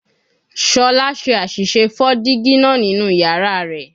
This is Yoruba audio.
Shola ṣe aṣiṣe fọ digi naa ninu yara rẹ